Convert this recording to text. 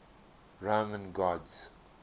roman gods